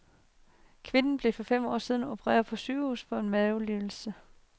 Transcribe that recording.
Kvinden blev for fem år siden opereret på sygehuset for en mavelidelse.